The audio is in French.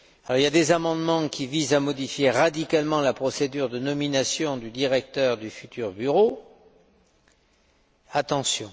Il y a des amendements qui visent à modifier radicalement la procédure de nomination du directeur du futur bureau. Attention!